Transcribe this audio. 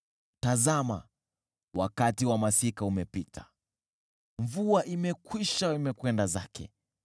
Tazama! Wakati wa masika umepita, mvua imekwisha na ikapita.